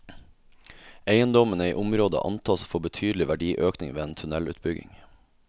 Eiendommene i området antas å få betydelig verdiøkning ved en tunnelutbygging.